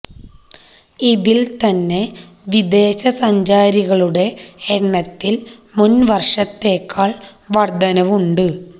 ഇതിൽ തന്നെ വിദേശ സഞ്ചാരികളുടെ എണ്ണത്തിൽ മുൻ വർഷത്തേക്കാൾ വർധനവ് ഉണ്ട്